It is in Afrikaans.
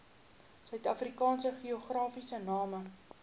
suidafrikaanse geografiese name